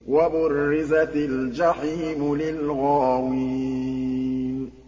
وَبُرِّزَتِ الْجَحِيمُ لِلْغَاوِينَ